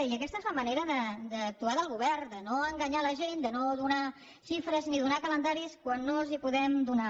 i aquesta és la manera d’actuar del govern de no enganyar la gent de no donar xifres ni donar calendaris quan no els els podem donar